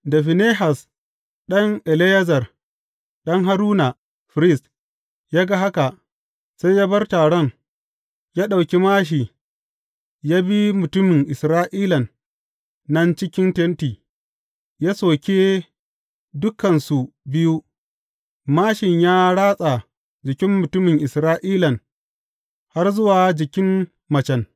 Da Finehas ɗan Eleyazar, ɗan Haruna, firist, ya ga haka, sai ya bar taron, ya ɗauki māshi ya bi mutumin Isra’ilan nan cikin tenti, ya soke dukansu biyu, māshin ya ratsa jikin mutumin Isra’ilan har zuwa jikin macen.